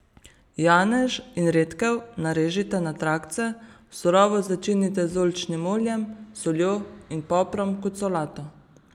Janež in redkev narežite na trakce, surovo začinite z oljčnim oljem, soljo in poprom kot solato.